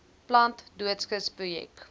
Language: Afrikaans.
plant doodskis projek